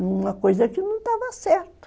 Numa coisa que não estava certa.